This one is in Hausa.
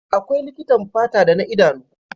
Akwai likitan fata da na idanu.